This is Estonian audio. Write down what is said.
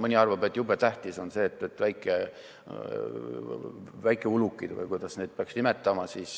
Mõni arvab, et jube tähtis on väikeulukid